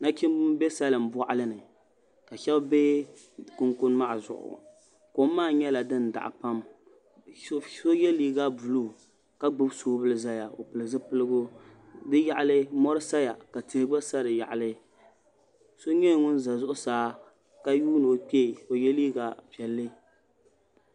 Nachimbi n bɛ salin boɣali ni ka shab bɛ kunkun maa zuɣu kom maa nyɛla din daɣa pam so yɛ liiga buluu ka gbubi soobuli ʒɛya o pili zipiligu bi yaɣali mori saya ka tihi gba sa bi yaɣali so nyɛla ŋun ʒɛ zuɣusaa ka yuundi o kpee ka o yɛ liiga piɛlli